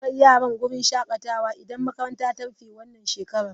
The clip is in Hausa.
Zan kai yaran wurin shakatawa idan makaranta ta rufe wannan shekara.